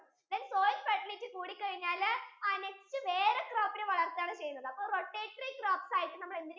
then soil fertility കൂടിക്കഴിഞ്ഞാൽ ആ next വേറെ crops ഇനി വളർത്തുകയാണ് ചെയ്യുന്നത് അപ്പൊ rotatory crops ആയിട്ട് നമ്മൾ എന്തിനെ ഉസ് ചെയുന്നു